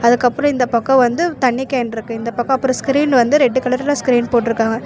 அதுக்கப்றோ இந்த பக்கோ வந்து தண்ணி கேன்ருக்கு இந்த பக்கோ அப்றோ ஸ்கிரீன் வந்து ரெட் கலர்ல ஸ்கிரீன் போட்ருக்காங்க.